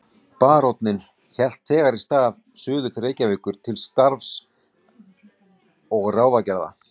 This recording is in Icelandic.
Baróninn hélt þegar í stað suður til Reykjavíkur til skrafs og ráðagerða.